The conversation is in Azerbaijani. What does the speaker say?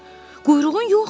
Quyruğun yoxdur.